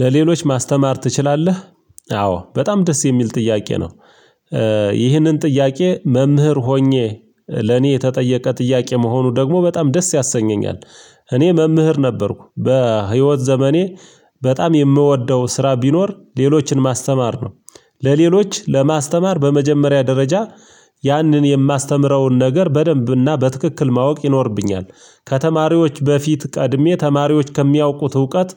ለሌሎች ማስተማር ትችላለህ? አዎ በጣም ደስ የሚል ጥያቄ ነው። ይህንን ጥያቄ መምህር ሆኜ ለኔ የተጠየቀ ጥያቄ መሆኑ ደግሞ በጣም ደስ ያሰኘኛል። እኔ መምህር ነበርኩ በህይወት ዘመኔ በጣም የምወደው ስራ ቢኖር ሌሎችን ማስተማር ነው። ለሌሎች ለማስተማር በመጀመሪያ ደረጃ ያንን የማስተምረውን ነገር በደንብና በትክክል ማወቅ ይኖርብኛል ከተማሪዎች በፊት ቀድሜ ተማሪዎች ከሚያውቁት እውቀት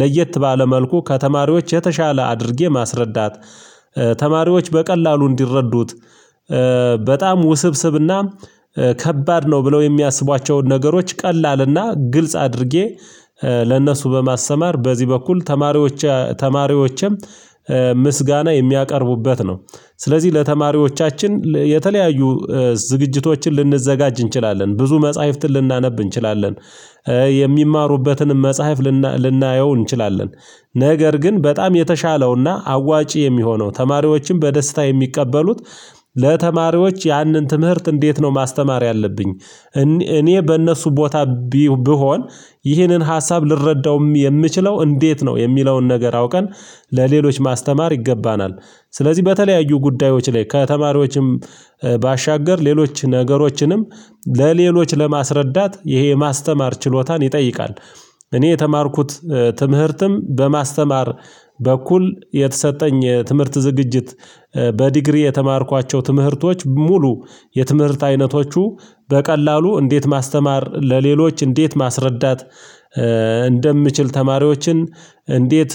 ለየት ባለ መልኩ ከተማሪዎች የተሻለ አድርጌ ማስረዳት። ተማሪዎች በቀላሉ እንዲረዱት በጣም ውስብስብና ከባድ ነው ብለው የሚያስቧቸውን ነገሮች ቀላል እና ግልጽ አድርጌ ለእነሱ በማስተማር በዚህ በኩል ተማሪዎች ተማሪዎችም ምስጋና የሚያቀርቡበት ነው። ስለዚህ ለተማሪዎቻችን የተለያዩ ዝግጅቶችን ልንዘጋጅ እንችላለን ብዙ መጽሐፍትን ልናነብ እንችላለን የሚማሩበትንም መጽሐፍ ልናየው እንችላለን ነገር ግን በጣም የተሻለው እና አዋጪ የሚሆነው ተማሪዎችም በደስታ የሚቀበሉት ለተማሪዎች ያንን ትምህርት እንዴት ነው ማስተማር ያለብኝ? እኔ በእነሱ ቦታ ብሆን ይህንን ሀሳብ ልረዳውም የምችለው እንዴት ነው የሚለውን ነገር አውቀን ለሌሎች ማስተማር ይገባናል ስለዚህ በተለያዩ ጉዳዮች ላይ ከተማሪዎችም ባሻገር ሌሎች ነገሮችንም ለሌሎች ለማስረዳት ይሄ የማስተማር ችሎታን ይጠይቃል። እኔ የተማርኩት ትምህርትም በማስተማር በኩል የተሰጠኝ ትምህርት ዝግጅት በዲግሪ የተማርኳቸው ትምህርቶች ሙሉ የትምህርት አይነቶቹ በቀላሉ እንዴት ማስተማር ለሌሎች እንዴት ማስረዳት። እንደምችል ተማሪዎችን እንዴት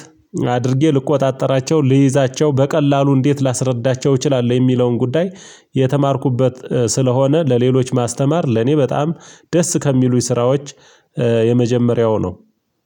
አድርጌ ልቆጣጠራቸው ልይዛቸው በቀላሉ እንዴት ላስረዳቸው እችላለሁ የሚለውን ጉዳይ። የተማርኩበት ስለሆነ ለሌሎች ማስተማር ለኔ በጣም ደስ ከሚሉኝ ስራዎች። የመጀመሪያው ነው።